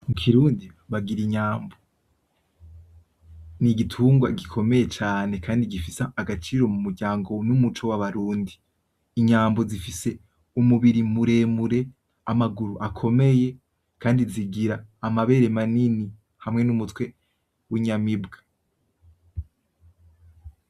Mukirundi bagira inyambo n'igitungwa gikomeye cane kandi gifise agaciro mumuryango n'umuco wabarundi ,Inyambo zifise umubiri muremure ,amaguru akomeye kandi zigira amabere manini hamwe n'umutwe winyamibwa.